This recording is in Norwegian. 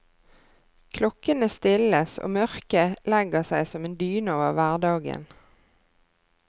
Klokkene stilles og mørket legger seg som en dyne over hverdagen.